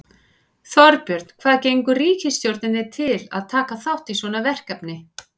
Þorbjörn, hvað gengur ríkisstjórninni til að taka þátt í svona verkefni?